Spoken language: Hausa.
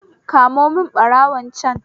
Kamo mun barawon can